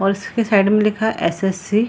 और इसके साइड में लिखा हे एस.एस.सी. ।